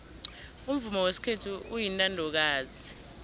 umvumo wesikhethu uyintandokazi